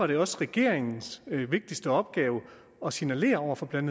det også regeringens vigtigste opgave at signalere over for blandt